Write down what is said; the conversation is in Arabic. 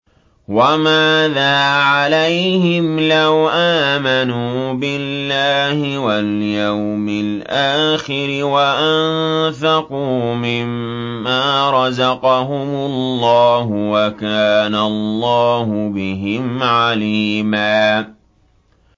وَمَاذَا عَلَيْهِمْ لَوْ آمَنُوا بِاللَّهِ وَالْيَوْمِ الْآخِرِ وَأَنفَقُوا مِمَّا رَزَقَهُمُ اللَّهُ ۚ وَكَانَ اللَّهُ بِهِمْ عَلِيمًا